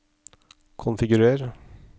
konfigurer